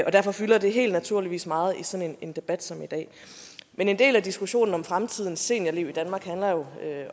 og derfor fylder det helt naturligt meget i sådan en debat som i dag men en del af diskussionen om fremtidens seniorliv i danmark handler jo